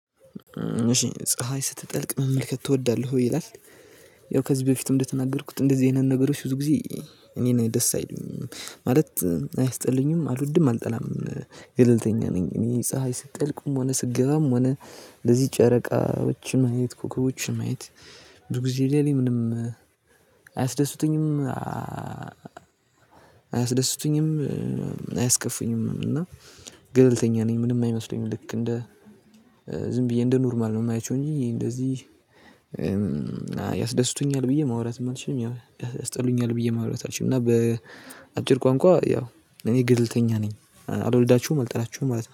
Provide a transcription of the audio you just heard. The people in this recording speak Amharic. እሺ ፀሀይ ስትጠልቅ መመልከት ትወዳለህ ወይ ይላል? ያው ከዚህ በፊትም እንደተናገርኩት እንደዚህ አይነት ነገሮች ብዙ ጊዜ እኔን ደስ አይለኝም ማለት አያስጠሉኝም አልወድም አልጠላም። ገለልተኛ ነኝ እኔ ፀሀይ ስጠልቅም ሆነ ስትገባም ሆነ። ለዚህ ጨረቃዎች ማየት ኮኮቦችን ማየት ብዙ ጊዜ ለኔ ምንም አያስደስቱኝም አያስደስቱኝም አያስከፉኝም እና ገለልተኛ ነኝ። ምንም አይመስለኝም ልክ እንደ ዝም ብዬ እንደ ኖርማል ነው የማያቸው እንጂ እንደዚህ ያስደስቱኛል ብዬ ማውራትም አልችልም። ያስጠሉኛል ብዬ ማውራት አልችልም። እና በአጭር ቋንቋ ያው እኔ ገለልተኛ ነኝ አልወዳቸውም አልጠላቸውም ማለት ነው